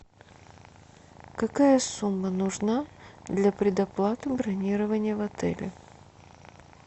какая сумма нужна для предоплаты бронирования в отеле